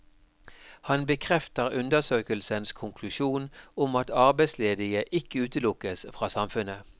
Han bekrefter undersøkelsens konklusjon om at arbeidsledige ikke utelukkes fra samfunnet.